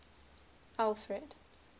alfred